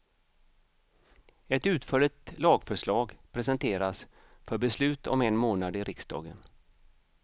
Ett utförligt lagförslag presenteras för beslut om en månad i riksdagen.